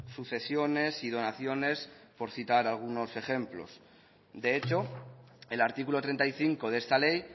sucesiones y donaciones por citar algunos ejemplos de hecho el artículo treinta y cinco de esta ley